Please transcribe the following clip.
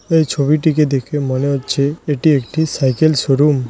এই ছবিটিকে দেখে মনে হচ্ছে এটি একটি সাইকেল শোরুম ।